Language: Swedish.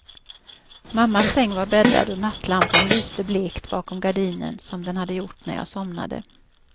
Mammas säng var bäddad och nattlampan lyste blekt bakom gardinen, som den hade gjort när jag somnade.